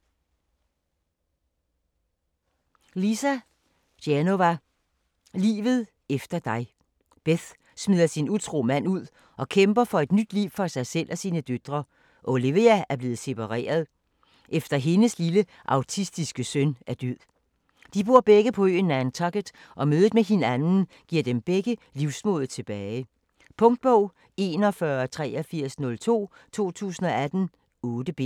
Genova, Lisa: Livet efter dig Beth smider sin utro mand ud og kæmper for et nyt liv for sig selv og sine døtre. Olivia er blevet separeret, efter hendes lille autistiske søn er død. De bor begge på øen Nantucket, og mødet med hinanden giver dem begge livsmodet tilbage. Punktbog 418302 2018. 8 bind.